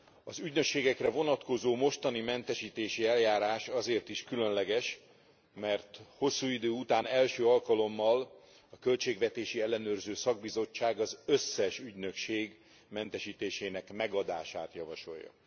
Az ügynökségekre vonatkozó mostani mentesítési eljárás azért is különleges, mert hosszú idő után első alkalommal a Költségvetési Ellenőrző Szakbizottság az összes ügynökség mentesítésének megadását javasolja.